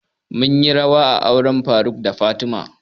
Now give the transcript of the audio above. Mun yi rawa a auren faruk da fatima